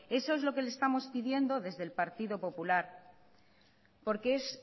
eso es lo que le estamos pidiendo desde el partido popular porque es